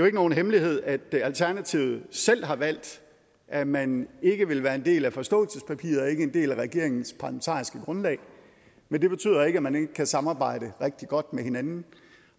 ikke nogen hemmelighed at alternativet selv har valgt at man ikke vil være en del af forståelsespapiret og ikke en del af regeringens parlamentariske grundlag men det betyder ikke at man ikke kan samarbejde rigtig godt med hinanden